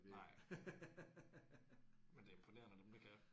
Nej. Men det er imponerende dem der kan